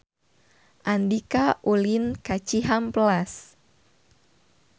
Andika ulin ka Cihampelas